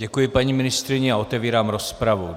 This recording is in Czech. Děkuji paní ministryni a otevírám rozpravu.